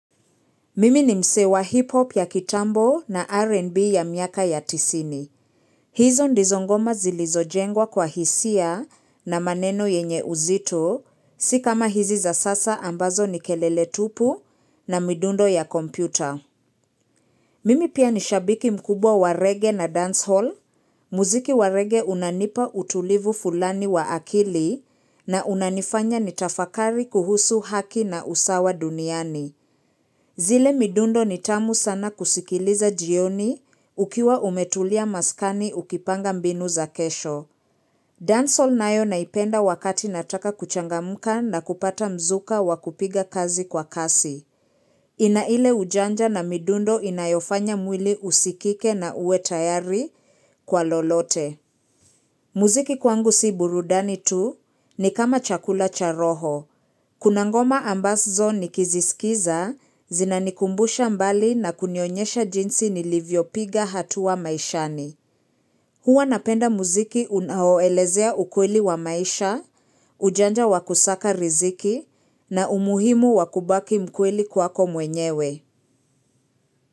Mimi ni msee wa hip hop ya kitambo na RN&B ya miaka ya tisini. Hizo ndizo ngoma zilizojengwa kwa hisia na maneno yenye uzito, si kama hizi za sasa ambazo ni kelele tupu na midundo ya kompyuta. Mimi pia ni shabiki mkubwa wa reggae na dancehall. Muziki wa reggae unanipa utulivu fulani wa akili na unanifanya nitafakari kuhusu haki na usawa duniani. Zile midundo ni tamu sana kusikiliza jioni ukiwa umetulia maskani ukipanga mbinu za kesho. Dancehall nayo naipenda wakati nataka kuchangamka na kupata mzuka wakupiga kazi kwa kasi. Ina ile ujanja na midundo inayofanya mwili usikike na uwe tayari kwa lolote. Muziki kwangu si burudani tu ni kama chakula cha roho. Kuna ngoma ambazo nikiziskiza, zinanikumbusha mbali na kunionyesha jinsi nilivyopiga hatua maishani. Huwa napenda muziki unaoelezea ukweli wa maisha, ujanja wa kusaka riziki na umuhimu wakubaki mkweli kwako mwenyewe.